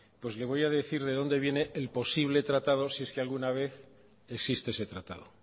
pues le voy a decir de dónde viene el posible tratado si es que alguna vez existe ese tratado